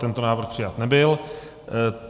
Tento návrh přijat nebyl.